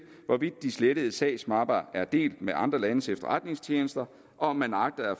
hvorvidt de slettede sagsmapper er delt med andre landes efterretningstjenester og om man agter at